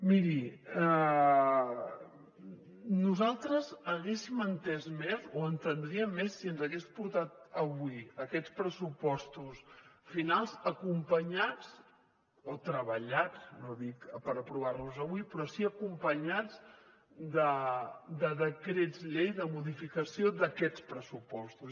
miri nosaltres haguéssim entès més o entendríem més si ens hagués portat avui aquests pressupostos finals acompanyats o treballats no dic per aprovar los avui però sí acompanyats de decrets llei de modificació d’aquests pressupostos